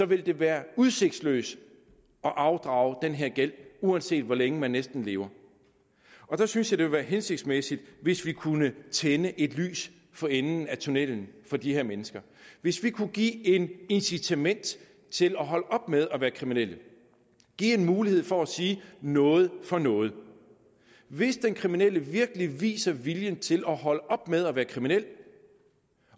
vil det være udsigtsløst at afdrage den her gæld uanset hvor længe man næsten lever der synes jeg det ville være hensigtsmæssigt hvis vi kunne tænde et lys for enden af tunnellen for de her mennesker hvis vi kunne give et incitament til at holde op med at være kriminel give en mulighed for at sige noget for noget hvis den kriminelle virkelig viser viljen til at holde op med at være kriminel